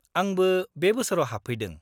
-आंबो बे बोसोराव हाबफैदों।